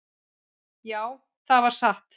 """Já, það var satt."""